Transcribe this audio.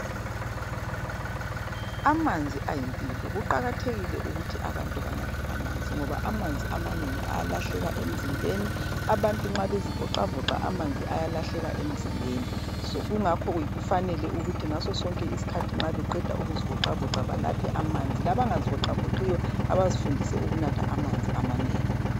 Amanzi ayimpilo kuqakathekile ukuthi abantu banathe amanzi ngoba amanzi amanengi ayalahleka emzimbeni abantu nxa bezivoxavoxa amanzi ayalahleka emzimbeni kungakho kufanele ukuthi ngasosonke isikhathi nxa beqeda ukuzi voxavoxa banathe amanzi labangazivoxavoxiyo abazifundise ukunatha amanzi amanengi.